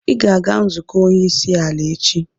Ị ga-aga nzukọ onye isi ala echi!